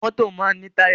Mọ́tọ̀ máa ń ní táyà.